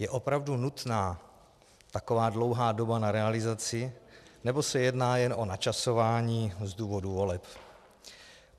Je opravdu nutná taková dlouhá doba na realizaci, nebo se jedná jen o načasování z důvodu voleb?